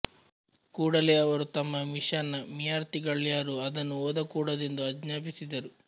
ಕೂಡಲೆ ಅವರು ತಮ್ಮ ಮಿಶನ್ ನ ವಿಯಾರ್ಥಿಗಳ್ಯಾರೂ ಅದನ್ನು ಓದಕೂಡದೆಂದು ಆಜ್ಞಾಪಿಸಿದರು